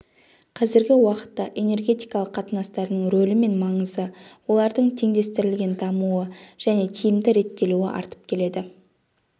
қазіргі уақытта энергетикалық қатынастардың рөлі мен маңызы олардың теңдестірілген дамуы және тиімді реттелуі артып келеді